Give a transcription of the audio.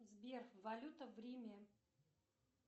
сбер валюта в риме